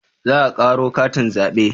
Za a karo katin zabe?